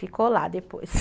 Ficou lá depois.